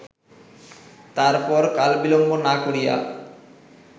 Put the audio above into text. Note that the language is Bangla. তারপর কালবিলম্ব না করিয়া